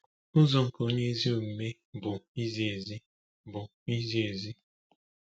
“Ụzọ nke Onye Ezi Omume bụ Izi Ezi.” bụ Izi Ezi.”